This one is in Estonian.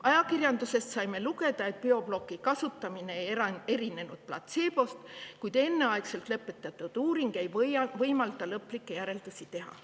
Ajakirjandusest saime lugeda, et Bioblocki kasutamine ei erinenud platseebost, kuid enneaegselt lõpetatud uuring ei võimalda selle kohta lõplikke järeldusi teha.